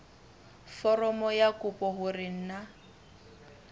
foromong ya kopo hore na